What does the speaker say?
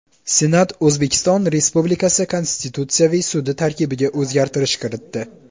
Senat O‘zbekiston Respublikasi Konstitutsiyaviy sudi tarkibiga o‘zgartish kiritdi.